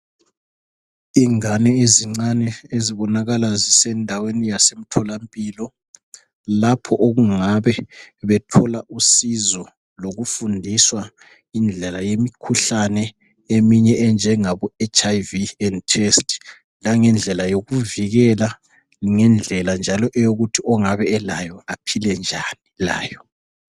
ingane ezincane zibonakala zisendaweni yasemtholampilo lapho okungabe bethola usizo yokufundiswa indlela yemikhuhlane eminye enjengabo HIV and AIDS test langendlela yokuvikela ngendlela njalo eyokuthi ongabe elayo aphile njani layo